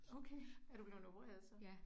Okay. Er du blevet opereret så?